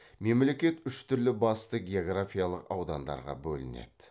мемлекет үш түрлі басты географиялық аудандарға бөлінеді